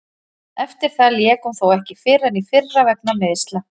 Eftir það lék hún þó ekki fyrr en í fyrra vegna meiðsla.